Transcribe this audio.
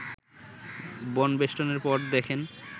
বনবেষ্টনের পর দেখেন